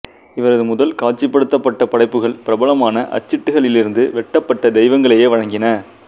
இவரது முதல் காட்சிப்படுத்தப்பட்ட படைப்புகள் பிரபலமான அச்சிட்டுகளிலிருந்து வெட்டப்பட்ட தெய்வங்களையே வழங்கின